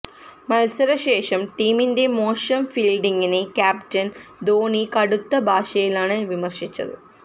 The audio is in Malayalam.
മത്സരശേഷം ടീമിന്റെ മോശം ഫീല്ഡിങ്ങിനെ ക്യാപ്റ്റന് ധോനി കടുത്ത ഭാഷയിലാണ് വിമര്ശിച്ചത്